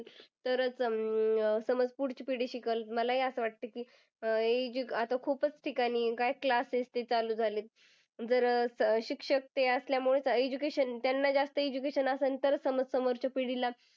तरच अं समज पुढची पिढी शिकलं. मला ही असं वाटतं की अं आता खूपच ठिकाणी काय classes ते चालू झाले आहेत. जर शिक्षक ते असल्यामुळे त्या education त्यांना जास्त education असेल तरच त्यांना समोरच्या पिढीला